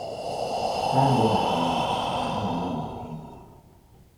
Ha adighi ata mmadu mana ha na mmadụ bu enyi